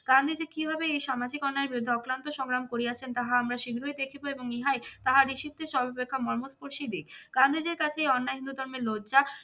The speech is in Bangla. গান্ধীজী কীভাবে এই সামাজিক অন্যায়ের বিরুদ্ধে অক্লান্ত সংগ্রাম করিয়াছেন তা আমরা শীঘ্রই দেখিবো এবং ইহাই তাহার ঋষিত্বের সর্বাপেক্ষা মর্মস্পর্শী দিক। গান্ধীজীর কাছেই অন্যায় হিন্দু ধর্মের লজ্জা